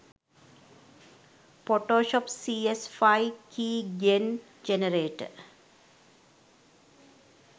photoshop cs5 keygen generator